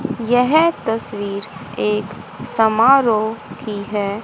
यह तस्वीर एक समारोह की हैं।